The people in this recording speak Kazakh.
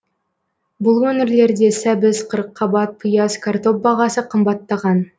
бұл өңірлерде сәбіз қырыққабат пияз картоп бағасы қымбаттаған